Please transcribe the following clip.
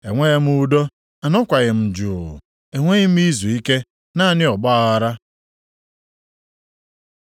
Enweghị m udo, anọkwaghị m jụụ, enweghị m izuike, naanị ọgbaaghara.”